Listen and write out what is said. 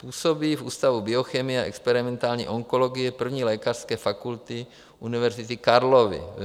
Působí v Ústavu biochemie a experimentální onkologie I. lékařské fakulty Univerzity Karlovy.